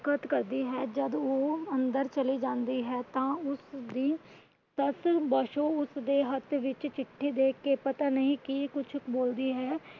ਕਰਦੀ ਹੈ। ਜੱਦ ਉਹ ਅੰਦਰ ਚਲੀ ਜਾਂਦੀ ਹੈ ਤਾਂ ਉਸਦੀ ਸੱਸ . ਉਸਦੇ ਹੱਥ ਵਿੱਚ ਚਿੱਠੀ ਦੇਖ ਕੇ ਪਤਾ ਨਹੀਂ ਕੀ ਕੁਛ ਬੋਲਦੀ ਹੈ।